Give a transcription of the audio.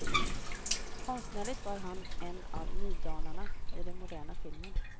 Konstnärligt var han en av nydanarna i den moderna filmen.